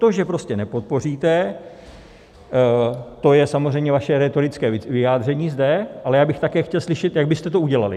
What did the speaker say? To, že prostě nepodpoříte, to je samozřejmě vaše rétorické vyjádření zde, ale já bych také chtěl slyšet, jak byste to udělali.